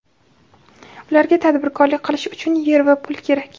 Ularga tadbirkorlik qilish uchun yer va pul kerak.